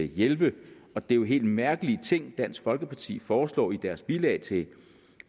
hjælpe og det er jo helt mærkelige ting dansk folkeparti foreslår i deres bilag til